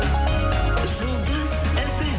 жұлдыз фм